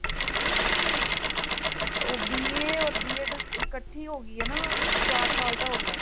ਓਹ B.A ਹੋਰ B.ED ਇਕੱਠੀ ਹੋ ਗਈ ਹੈ ਨਾ , ਕੁਛ ਚਾਰ ਸਾਲ ਦਾ ਹੋਗਿਆ ਹੈ